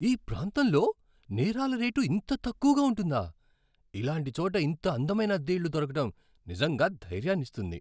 ఈ ప్రాంతంలో నేరాల రేటు ఇంత తక్కువగా ఉంటుందా! ఇలాంటి చోట ఇంత అందమైన అద్దె ఇల్లు దొరకడం నిజంగా ధైర్యాన్ని ఇస్తుంది.